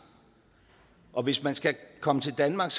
og hvis man skal komme til danmark